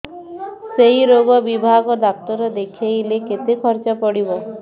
ସେଇ ରୋଗ ବିଭାଗ ଡ଼ାକ୍ତର ଦେଖେଇଲେ କେତେ ଖର୍ଚ୍ଚ ପଡିବ